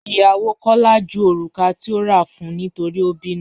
Ìyàwó Kọla jú orúkà tí ò rà fún nítorí o bínú.